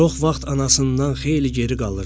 Çox vaxt anasından xeyli geri qalırdı.